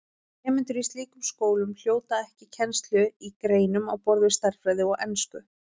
Nemendur í slíkum skólum hljóta ekki kennslu í greinum á borð við stærðfræði og ensku.